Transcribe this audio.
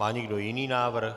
Má někdo jiný návrh?